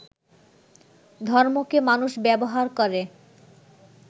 ধর্মকে মানুষ ব্যবহার করে